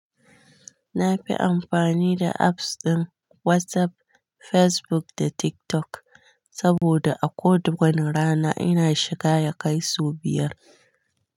Na fi amfani da apps ɗin WhatsApp, Facebook da TikTok saboda a kowad wane rana ina shiga ya kai sau biyar.